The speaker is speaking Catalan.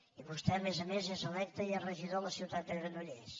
i vostè a més a més és electe i és regidor de la ciutat de granollers